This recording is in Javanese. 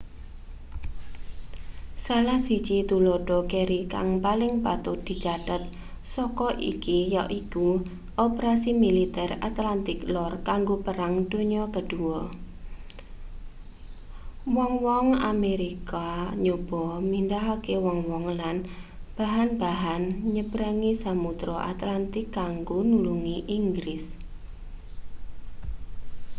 salah siji tuladha keri kang paling patut dicathet saka iki yaiku operasi militer atlantik lor kanggo perang donya ii wong-wong amerika nyoba mindhahake wong-wong lan bahan-bahan nyebrangi samudra atlantik kanggo nulungi inggris